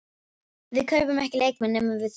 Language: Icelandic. Við kaupum ekki leikmenn nema við þurfum þá.